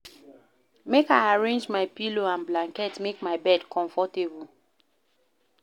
Make I arrange my pillow and blanket, make my bed comfortable